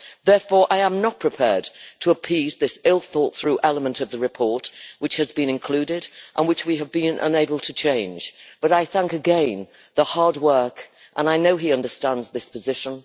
Therefore, I am not prepared to appease this ill thought through element of the report which has been included and which we have been unable to change, but I thank again for the hard work, and I know he understands this position.